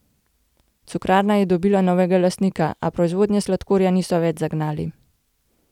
Cukrarna je dobila novega lastnika, a proizvodnje sladkorja niso več zagnali.